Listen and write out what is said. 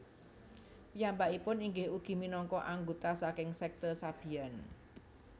Piyambakipun inggih ugi minangka anggota saking sekte Sabian